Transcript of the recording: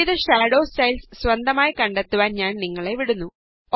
വിവിധ shadow styles സ്വന്തമായി കണ്ടെത്തുവാന് ഞാന് നിങ്ങളെ വിടുന്നു